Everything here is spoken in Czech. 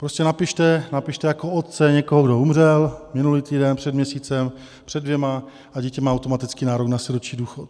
Prostě napište jako otce někoho, kdo umřel minulý týden, před měsícem, před dvěma, a dítě má automaticky nárok na sirotčí důchod.